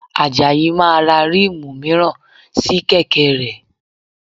Àjàyí máa ra ríìmù mìíràn sí kẹ̀kẹ́ rẹ̀